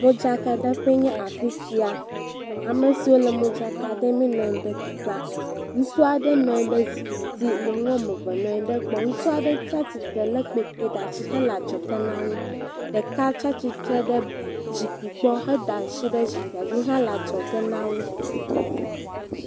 Modzakaɖeƒe nye afi sia amesiwo le modzaka ɖem nɔ anyi ɖe teƒea ŋutsu aɖe nɔ anyi ɖe zikpuidzi nyɔnuwo ame eve nɔ anyi ɖe gbɔ ŋutsu aɖe tia titre le kpetɛ ɖe asi le adzɔge nawo ɖeka tia titre ɖe zikpui gbɔ heda asi ɖe zikpuia dzi hele adzɔge nawo